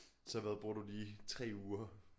Så hvad bruger du lige 3 uger